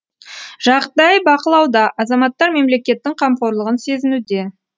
жағдай бақылауда азаматтар мемлекеттің қамқорлығын сезінуде